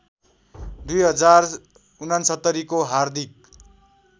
२०६९को हार्दिक